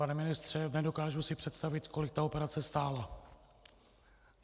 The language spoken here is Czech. Pane ministře, nedokážu si představit, kolik ta operace stála.